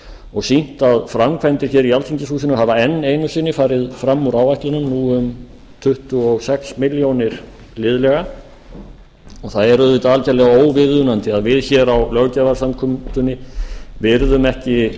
og sýnt að framkvæmdir í alþingishúsinu hafa enn einu sinni farið fram úr áætlunum nú um tuttugu og sex milljónir liðlega og það er auðvitað algerlega óviðunandi að við hér á löggjafarsamkomunni virðum ekki